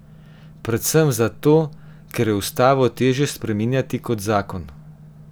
Predvsem zato, ker je ustavo težje spreminjati kot zakon.